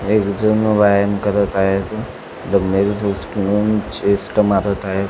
एक जण व्यायाम करत आहे तो डम्बेल्स उचलून चेस्ट मारत आहे.